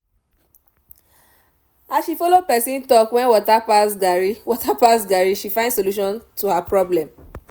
as she follow person talk when water pass garri water pass garri she find solution to her problem